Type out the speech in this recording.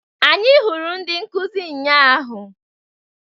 Anyị hụrụ ndị nkuzi ụnyaahụ.